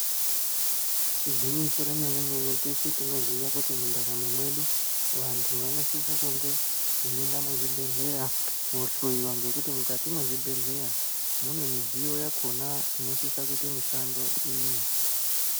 Igwinyiso remene-mene teshe tinoziya kuti mundaramo medu. Vantu vanosise kunge veienda muzvibhedhleya kohloiwa. Ngekuti mukati mwezvibhedhleya mune midziyo yakona inosise kuite mishando iyi.